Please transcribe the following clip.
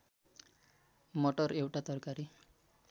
मटर एउटा तरकारी